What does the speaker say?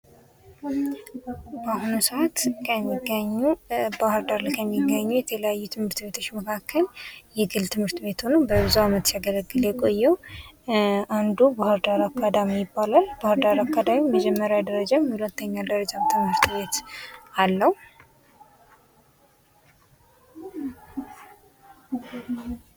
በአሁኑ ሰዓት ከሚገኙ ባህርዳር ከሚገኙ የተለያዩ ትምህርት ቤቶች መካከል የግል ትምህርት ቤት ሆኖ ለብዙ ዓመት ሲያገለግል የቆየው አንዱ ባህር ዳር አካዳሚ ይባላል ባህርዳር አካዳሚ የመጀመሪያ ደረጃም የሁለተኛ ደረጃም ትምህርት ቤት አለው።